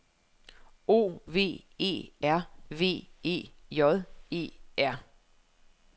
O V E R V E J E R